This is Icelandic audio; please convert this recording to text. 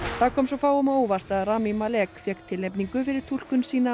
það kom svo fáum á óvart að Rami Malek fékk tilnefningu fyrir túlkun sína